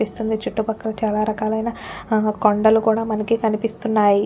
పిస్తుంది చుట్టుపక్కల చాలారకాలైన కొండలు కూడా మనకి కనిపిస్తున్నాయి.--